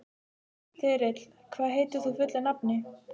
Þyrill, hvað heitir þú fullu nafni?